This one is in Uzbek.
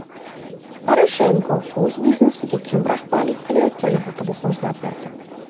Poroshenko o‘z biznesiga kim rahbarlik qilayotgani haqida so‘zlab berdi.